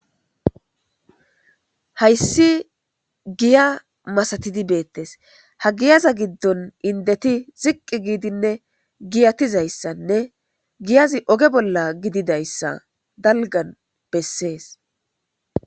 Haysi giya masati betes ha giyaza gidon indeti ziqi gidinne giyatuzaysanne giyazi oge bola gididaysa dalgane beses.